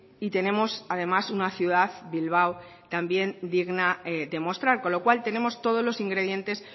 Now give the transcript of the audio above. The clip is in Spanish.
y tenemos además una ciudad bilbao también digna de mostrar con lo cual tenemos todos los ingredientes